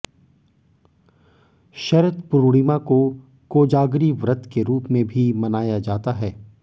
शरद पूर्णिमा को कोजागरी व्रत के रूप में भी मनाया जाता है